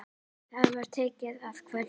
Það var tekið að kvölda.